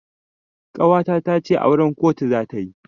Ƙawata tace auran kotu zata yi.